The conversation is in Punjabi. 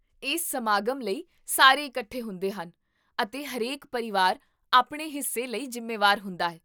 ਇਸ ਸਮਾਗਮ ਲਈ ਸਾਰੇ ਇਕੱਠੇ ਹੁੰਦੇ ਹਨ, ਅਤੇ ਹਰੇਕ ਪਰਿਵਾਰ ਆਪਣੇ ਹਿੱਸੇ ਲਈ ਜ਼ਿੰਮੇਵਾਰ ਹੁੰਦਾ ਹੈ